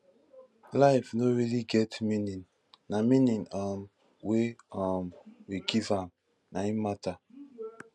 life no really get meaning na meaning um wey um we give am na im matter